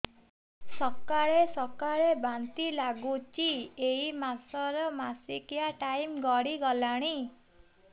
ସକାଳେ ସକାଳେ ବାନ୍ତି ଲାଗୁଚି ଏଇ ମାସ ର ମାସିକିଆ ଟାଇମ ଗଡ଼ି ଗଲାଣି